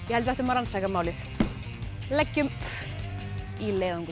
held við ættum að rannsaka málið leggjum í leiðangur